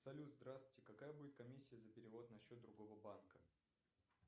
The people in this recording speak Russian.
салют здравствуйте какая будет комиссия за перевод на счет другого банка